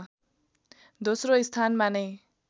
दोस्रो स्थानमा नै